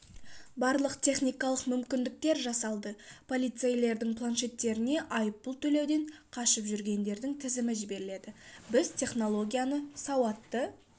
барлық техникалық мүмкіндіктер жасалды полицейлердің планшеттеріне айыппұл төлеуден қашып жүргендердің тізімі жіберіледі біз технологияны сауатты